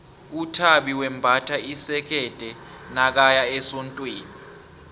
uthabi wembatha isikerde nakaya esondweni